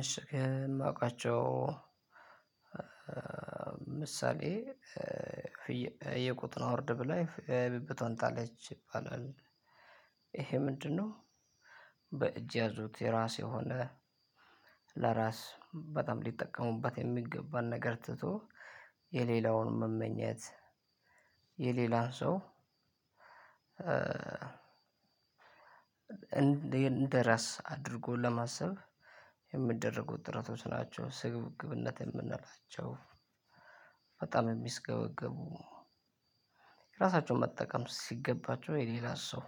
እሺ ማውቃቸው ምሳሌ የቆጡን አወርድ ብላ የብብቶን ጣለች ይባላል። ይሄ ምንድነው? በእጅ ያዙት የራስ የሆነ ለራስ በጣም ሊጠቀሙበት የሚገባን ነገር ትቶ የሌላውን መመኘት የሌላውን ሰው እንደራስ አድርጎ ለማሰብ የምደረጉት ጥረቶች ናቸው ስግብግብነት የምንላቸው። በጣም የሚስገበገቡ ራሳቸውን መጠቀም ሲገባቸው የሌላ ሰው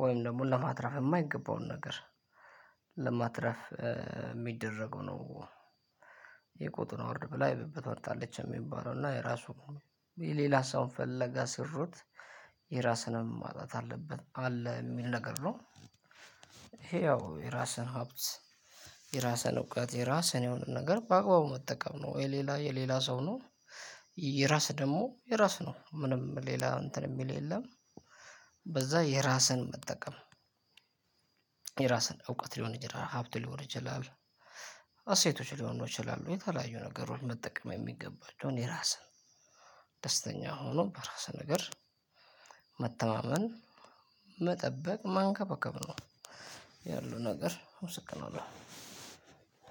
ወይም ደግሞ ለማትረፍ የማይገባውን ነገር ለማትረፍ የሚደረገው ነው። የቆጡን አውርድ ብላ የብብቶን ጣለች የሚባለው እና የራሱ ሌላ ሀሳቡን ፈለጋ ስሩት የራስንም ማጣት አለበት አለ የሚል ነገር ነው። ይሄ ያው የራስን ሀብት የራስህን እውቀት የራስህን የሆነ ነገር በአግባቡ መጠቀም ነው የሌላ የሌላ ሰው ነው። የራስህ ደግሞ የራስህ ነው ምንም ሌላ እንትን የሚል የለም። በዛ የራስህን መጠቀም የራስን እውቀት ሊሆን ይችላል ሀብት ሊሆን ይችላል። እሴቶች ሊሆኑ ይችላሉ የተለያዩ ነገሮች መጠቀም የሚገባቸውን የራስን ደስተኛም ሆኖ በራስ ነገር መተማመን መጠበቅ ማንከባከብ ነው። ያሉ ነገር አመሰግናለሁ።